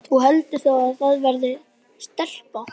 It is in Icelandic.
Þú heldur þá að það verði stelpa?